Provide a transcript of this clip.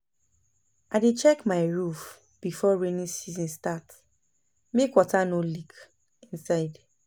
I dey check my roof before rainy season start, make water no leak inside.